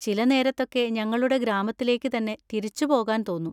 ചില നേരത്തൊക്കെ ഞങ്ങളുടെ ഗ്രാമത്തിലേക്ക് തന്നെ തിരിച്ച് പോകാൻ തോന്നും.